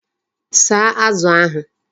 Saa Azu ahu